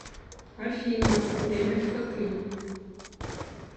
афина время в хатынь